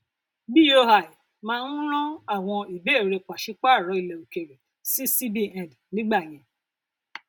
boi máa ń rán àwọn ìbéèrè pàṣípààrọ ilẹ òkèèrè sí cbn nígbà yẹn